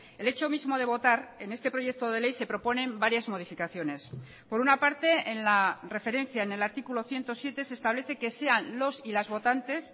el hecho mismo de votar en este proyecto de ley se proponen varias modificaciones por una parte en la referencia en el artículo ciento siete se establece que sean los y las votantes